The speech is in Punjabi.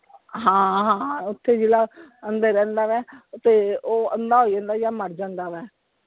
ਹਾਂ ਹਾਂ ਓਥੇ ਜਿਹੜਾ ਅੰਦਰ ਰਹਿੰਦਾ ਵਾ ਤੇ ਉਹ ਅੰਧਾ ਹੋ ਜਾਂਦਾ ਹੈ ਜਾਂ ਮਰ ਜਾਂਦਾ ਵਾ।